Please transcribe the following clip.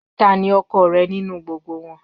Tani ọkọ rẹ ninu gbogbo wọn?